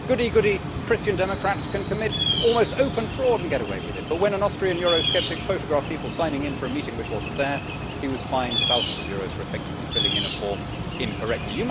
Goody goody Christian Democrats can commit almost open fraud and get away with it, but when an Austrian Eurosceptic photographed people signing in for a meeting which was not there, he was fined thousands of euros for effectively filling in a form incorrectly.